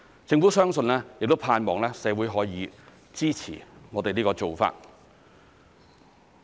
政府相信亦盼望社會可以支持我們這個做法。